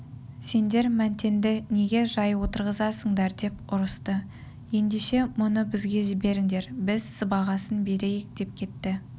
сендер мәнтенді неге жай отырғызасыңдар деп ұрысты ендеше мұны бізге жіберіңдер біз сыбағасын берейік деп кетті